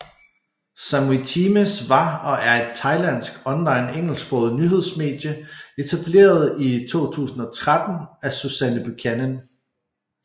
Samui Times var og er et thailandsk online engelsksproget nyhedsmedie etableret i 2013 af Suzanne Buchanan